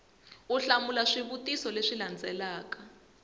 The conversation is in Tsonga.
u hlamula swivutiso leswi landzelaka